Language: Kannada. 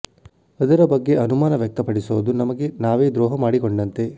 ಅದರ ಬಗ್ಗೆ ಅನುಮಾನ ವ್ಯಕ್ತ ಪಡಿಸೋದು ನಮಗೆ ನಾವೇ ದ್ರೋಹ ಮಾಡಿಕೊಂಡಂತೆ